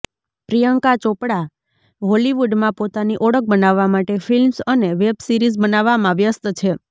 પ્રિયંકા ચોપડા હોલિવૂડમાં પોતાની ઓળખ બનાવવા માટે ફિલ્મ્સ અને વેબસીરીઝ બનાવવામાં વ્યસ્ત છે